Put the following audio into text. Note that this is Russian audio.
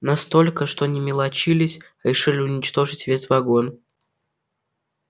настолько что не мелочились решили уничтожить весь вагон